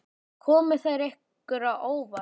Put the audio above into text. Komu þær ykkur á óvart?